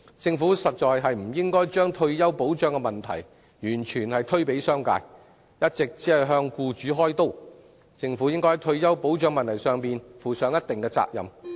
政府實在不應該把退休保障的責任完全推卸給商界，只顧向僱主開刀，而應該在退休保障問題上負上一定責任。